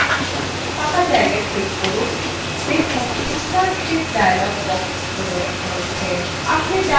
ফাঁকা জায়গায় ক্লিক করলে দেখুন insert sheet dialog box প্রদর্শিত হচ্ছে